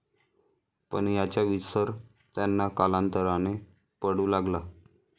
पण याचा विसर त्यांना कालांतराने पडू लागला.